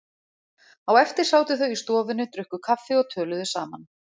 Á eftir sátu þau í stofunni, drukku kaffi og töluðu saman.